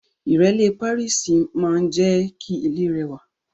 Ìrẹ́lé Pàríìsì maa n je ki ile rewa